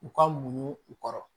U ka muɲu u kɔrɔ